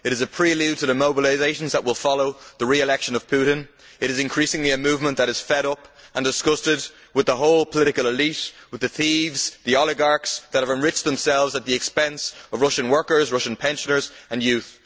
It is a prelude to the mobilisations that will follow the re election of Putin. It is increasingly a movement that is fed up and disgusted with the whole political elite and with the thieves, the oligarchs that have enriched themselves at the expense of Russian workers, Russian pensioners and Russian youth.